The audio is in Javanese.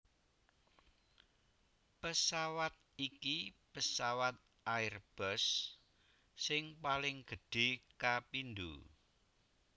Pesawat iki pesawat Airbus sing paling gedhé kapindho